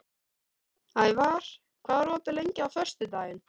Ævar, hvað er opið lengi á föstudaginn?